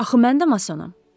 Axı mən də masonam.